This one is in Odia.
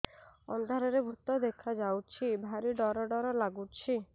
ଅନ୍ଧାରରେ ଭୂତ ଦେଖା ଯାଉଛି ଭାରି ଡର ଡର ଲଗୁଛି